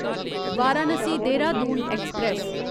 Varanasi Dehradun express